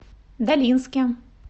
долинске